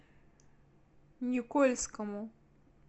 никольскому